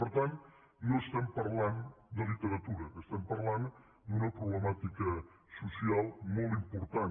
per tant no estem parlant de literatura estem parlant d’una problemàtica social molt important